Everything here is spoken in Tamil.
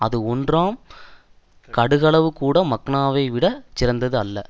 அது ஒன்றாம் கடுகளவு கூட மக்னாவை விட சிறந்தது அல்ல